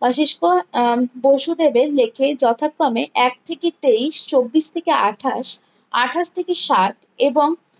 কোসিসকো আহ পশুদেবের লেখে যথাক্রমে এক থেকে তেইশ চব্বিশ থেকে আঠাশ আঠাশ থেকে ষাট এবং